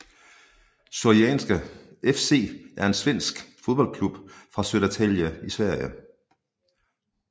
Syrianska FC er en svensk fodboldklub fra Södertälje i Sverige